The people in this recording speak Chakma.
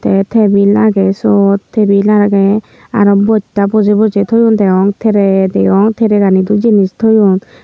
te tebil agey sot tebil agey araw bojta bojey bojey toyon deyong trey deyong trey gani du jinis toyon.